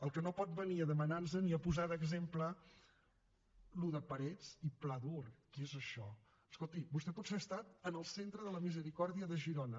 el que no pot venir és a demanar nos ni a posar d’exemple allò de parets i pladur què és això escolti vostè potser ha estat en el centre de la misericòrdia de girona